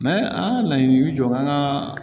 an ka laɲini bɛ jɔ an ka